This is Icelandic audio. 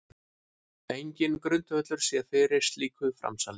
Enginn grundvöllur sé fyrir slíku framsali